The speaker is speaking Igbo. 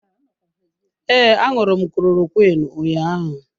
Ee, aṅụru m klorokwiin ụnyaahụ.